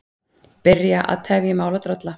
Byrja að tefja mál og drolla